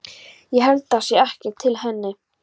Ég held það sé ekkert til í henni.